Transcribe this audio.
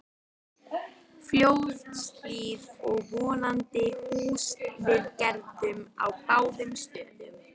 Fljótshlíð og vonandi húsaviðgerðum á báðum stöðum.